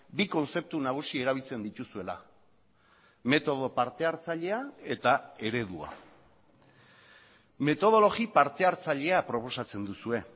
bi kontzeptu nagusi erabiltzen dituzuela metodo partehartzailea eta eredua metodologi partehartzailea proposatzen duzue